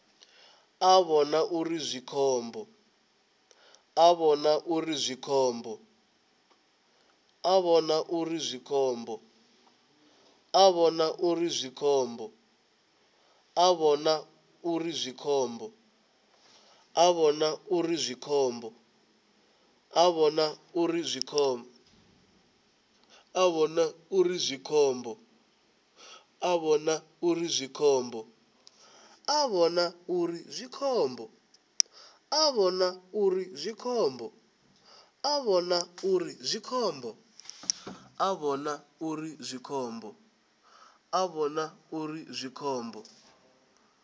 a vhona uri zwi khombo